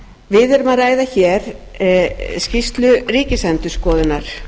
við erum að ræða skýrslu ríkisendurskoðunar